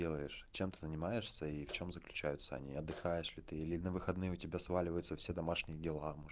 делаешь чем занимаешься и в чём заключаются не отдыхаешь ли ты или на выходные у тебя сваливаются все домашние дела может